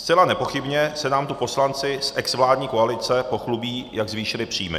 Zcela nepochybně se nám tu poslanci z exvládní koalice pochlubí, jak zvýšili příjmy.